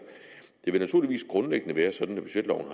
det vil naturligvis grundlæggende være sådan at budgetloven